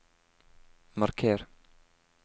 marker